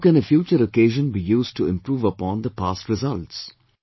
How can a future occasion be used to improve upon the past results